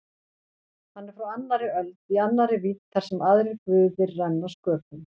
Hann er frá annarri öld- í annarri vídd þar sem aðrir guðir renna sköpum.